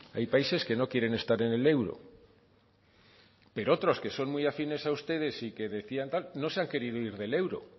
hay países que no quieren estar en el euro pero otros que son muy afines a ustedes y decían tal no se han querido ir del euro